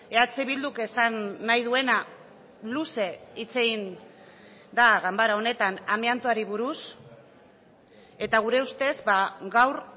eh bilduk esan nahi duena luze hitz egin da ganbara honetan amiantoari buruz eta gure ustez gaur